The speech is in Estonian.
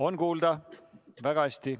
On kuulda väga hästi.